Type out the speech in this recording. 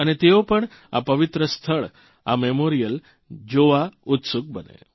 અને તેઓ પણ આ પવિત્ર સ્થળ આ મેમોરીયલ જોવા માટે ઉત્સુક બને